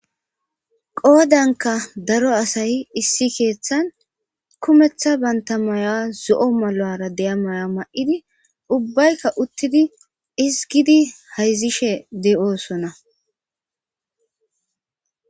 Qoodanka daro asayi issi keeththan kumeththa banta maya zo'o malo'ara deya maya ma'idi ubbaykka uttidi isgidi hayzishe de'oosona.